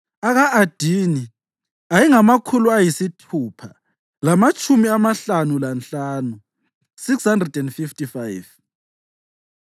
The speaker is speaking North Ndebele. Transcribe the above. aka-Adini ayengamakhulu ayisithupha lamatshumi amahlanu lanhlanu (655),